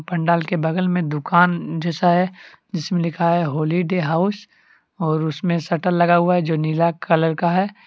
पंडाल के बगल में दुकान जैसा है जिसमें लिखा है होली डे हाउस और उसमें शटर लगा हुआ है जो नीला कलर का है।